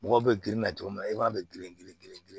Mɔgɔw bɛ girin na cogo min na i b'a bɛɛ girin